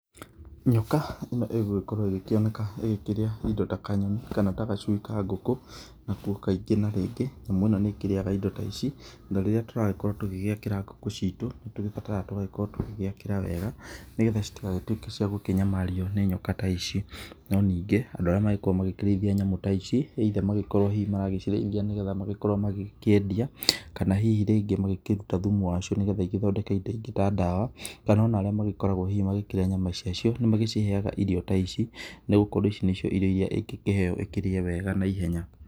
Nyoka ino ĩgũkĩoneka ĩkĩrĩa indo ta kanyonĩ kana ta gacũĩ ka ngũkũ nakũo kaĩngĩ na rĩngĩ, nyamũ ĩno nĩ ĩkĩrĩaga indo ta ici na rĩrĩa tũragĩkorwo tũgĩakĩra ngũkũ, ciito nĩ tũrabatara tũgakĩrwo tũkĩgĩcĩakara wega nĩ getha citagĩtũeke cĩa kũnyamarĩo nĩ nyoka ta ici. Nũ nĩngĩ andũ arĩa magĩkorwo makĩrĩthĩa nyamũ ta ici either magĩkorwo hĩhĩ maragĩcĩreĩthĩa magĩkĩendĩa kana hĩhĩ rĩngĩ makĩrũta thũmũ wacio nĩgetha igethondeke indo ingĩ ta ndawa, kana ona arĩa hĩhĩ magĩkoragwo makĩrĩa nyama yacĩo nĩmagĩcihega irĩo ta ĩcĩ nĩ gũkorwo ĩrĩo ici nĩcio ingĩkĩheo ĩkĩrĩe wega naĩhenya.